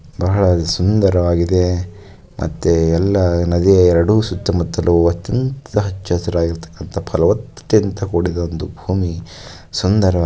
ಬಹಳ ಸುಂದರವಾಗಿದೆ ಮತ್ತೆ ಎಲ್ಲಾ ಎರಡು ನದಿಯ ಸುತ್ತಮುತ್ತಲು ಹತ್ತಿ ಹಚ್ಚಸಿರಾಗಿದೆ ಫಲವತ್ತತೆಯಿಂದ ಕೂಡಿರಬಹುದು ಅನ್ನಬಹುದು.